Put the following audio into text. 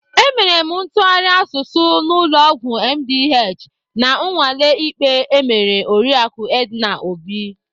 Emere m ntụgharị asụsụ n'ụlọ ọgwụ MDH na nnwale ikpe emere oriaku Edna Obi.